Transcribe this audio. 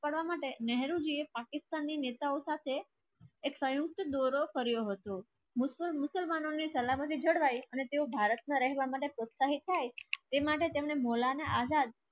કરવા માટે નહેરુ પાકિસ્તાનની નેતાઓ સાથે એક સંયુક્ત દોરો કર્યો હતો. અને તેઓ ભારતમાં રહેવા માટે પ્રોત્સાહિત થાય તે માટે તેમને મોલાના આઝાદ